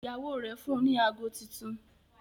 Ìyàwó rẹ fún ní àgọ títún